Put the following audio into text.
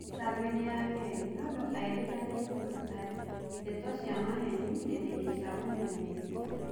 Thitango ini ya kiri, Nondo airikanite kũruta ndeto cia maheni nendaini cia ũmemerekia.